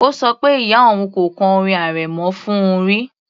Ó ṣọ pé ìyá òun kò kọ orin arẹmọ fún òun rí